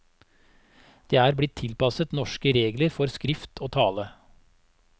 De er blitt tilpasset norske regler for skrift og tale.